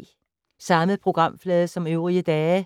Samme programflade som øvrige dage